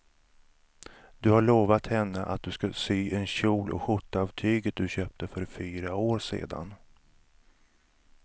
Du har lovat henne att du ska sy en kjol och skjorta av tyget du köpte för fyra år sedan.